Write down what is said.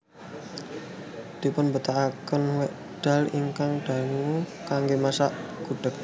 Dipunbetahaken wekdal ingkang dangu kanggé masak gudheg